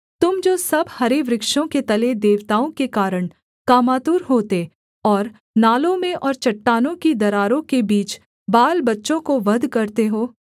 तुम जो सब हरे वृक्षों के तले देवताओं के कारण कामातुर होते और नालों में और चट्टानों ही दरारों के बीच बालबच्चों को वध करते हो